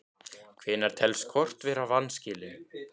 Hvenær telst kort vera í vanskilum?